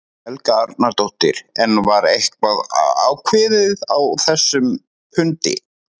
Helga Arnardóttir: En var eitthvað ákveðið á þessum fundi?